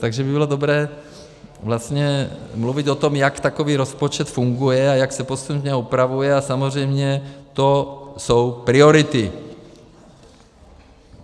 Takže by bylo dobré vlastně mluvit o tom, jak takový rozpočet funguje a jak se postupně upravuje, a samozřejmě to jsou priority.